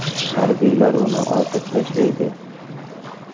Harbiylar uni otib tashlaydi.